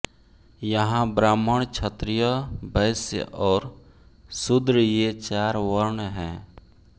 यहाँ ब्राह्मण क्षत्रीय वैश्य और शूद्र ये चार वर्ण हैं